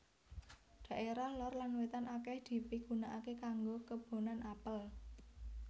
Dhaérah lor lan wétan akèh dipigunaaké kanggo kebonan apel